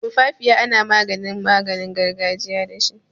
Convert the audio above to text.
Tumfafiya ana maginin gargajiya dashi.